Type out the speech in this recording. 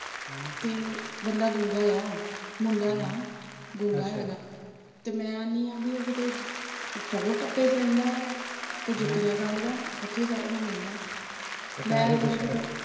ਹਮ ਬੰਦਾ ਗੂੰਗਾ ਏ ਆ, ਮੁੰਡਾ ਏ ਆ। ਗੂੰਗਾ ਹੈਗਾ ਤੇ ਮੈਂ ਆਹਨੀ ਬਈ ਉਹ ਕਿਤੇ ਟੌਰ ਟੱਪੇ ਚ ਰਹਿੰਦਾ ਏ ਆ ਤੇ ਜੁੱਤੀਆਂ ਗੰਢਦਾ ਉੱਥੇ ਸਾਰਾ ਦਿਨ ਰਹਿੰਦਾ ਤੇ ਪੈਸੇ,